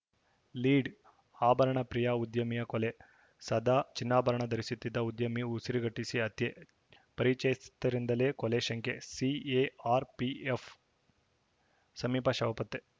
lead ಆಭರಣ ಪ್ರಿಯ ಉದ್ಯಮಿಯ ಕೊಲೆ ಸದಾ ಚಿನ್ನಾಭರಣ ಧರಿಸುತ್ತಿದ್ದ ಉದ್ಯಮಿ ಉಸಿರುಗಟ್ಟಿಸಿ ಹತ್ಯೆ ಪರಿಚಯಸ್ಥರಿಂದಲೇ ಕೊಲೆ ಶಂಕೆ ಸಿಎಆರ್‌ಪಿಎಫ್‌ ಸಮೀಪ ಶವ ಪತ್ತೆ